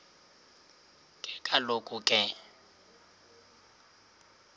ke kaloku ke